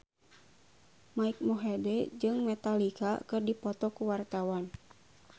Mike Mohede jeung Metallica keur dipoto ku wartawan